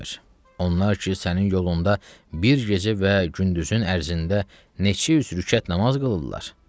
Onlar ki, sənin yolunda bir gecə və gündüzün ərzində neçə yüz rükət namaz qılırlar.